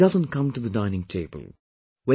" He doesn't come to the dining table